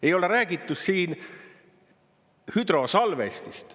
Ei ole räägitud siin hüdrosalvestist.